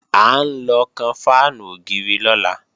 À ń lọ kan fáànù ògiri lọ́la